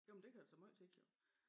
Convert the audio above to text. Jo men det kan jo tage meget tid jo